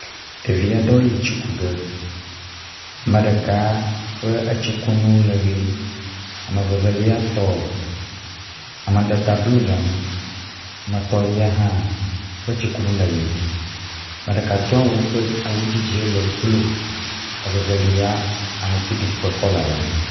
Ɖevi aɖewo yi tsi ku ge. Ame ɖeka ƒe etsikunu le ʋie. Ame veveliatɔ, amadede blɔ le enu. Ame etɔ̃lia hã ƒe tsikunu le ʋie. Ame ɖeka do awu ƒe awu dzidzi le blɔ, evevelia aŋtiɖiɖi ƒe kɔla le eŋu